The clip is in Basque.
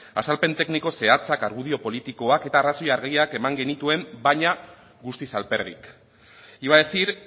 azalpen tekniko zehatzak argudio politikoak eta arrazoi argiak eman genituen baina guztiz alperrik iba a decir